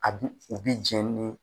A b'u, u bi jɛn ni